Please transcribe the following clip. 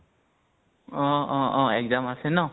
অহ অ অ exam আছে ন?